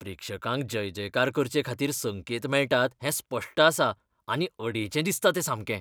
प्रेक्षकांक जयजयकार करचेखातीर संकेत मेळटात हें स्पश्ट आसा आनी अडेचें दिसता तें सामकें.